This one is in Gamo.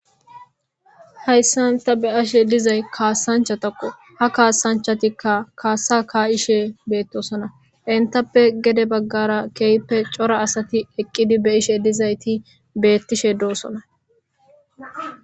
hayssanta be ashe dizay kaassanchatako ha kaasanchatikka kaassa ka7ishe beettosona intappe gede baggara keeyppe cora asati eqqidi be ishe dizayti beettishe doossona